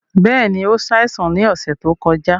Bẹ́ẹ̀ni, o ṣáìsàn ni ọṣẹ to kọja